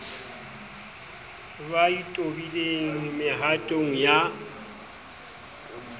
ba e tobileng mehatong ya